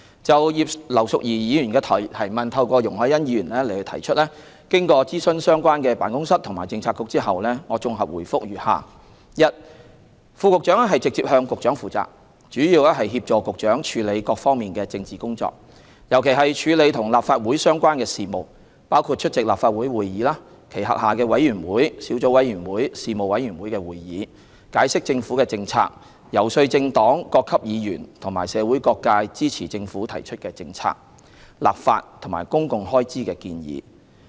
就葉劉淑儀議員透過容海恩議員提出的質詢，經諮詢相關辦公室及政策局後，我綜合答覆如下：一副局長直接向局長負責，主要協助局長處理各方面的政治工作，尤其是處理與立法會相關的事務，包括出席立法會會議、其轄下委員會、小組委員會及事務委員會的會議，解釋政府政策、遊說政黨、各級議員和社會各界支持政府提出的政策、立法及公共開支建議。